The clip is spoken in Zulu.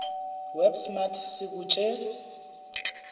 web smart sikutshe